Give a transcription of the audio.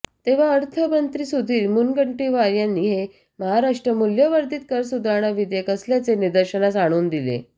तेव्हा अर्थमंत्री सुधीर मुनगंटीवार यांनी हे महाराष्ट्र मूल्यवर्धित कर सुधारणा विधेयक असल्याचे निदर्शनास आणून दिले